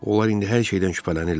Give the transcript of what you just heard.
Onlar indi hər şeydən şübhələnirlər.